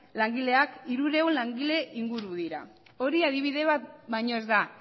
langileak hirurehun langile inguru dira hori adibide bat baino ez da